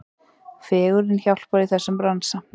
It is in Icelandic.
Fegurðin hjálpar í þessum bransa.